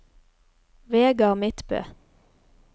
Vegard Midtbø